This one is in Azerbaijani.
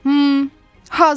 Hazırsızmı?